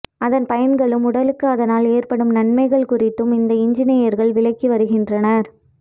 அதன் பயன்களும் உடலுக்கு அதனால் ஏற்படும் நன்மைகள் குறித்தும் இந்த இன்ஜினியர்கள் விளக்கி வருகின்றனர்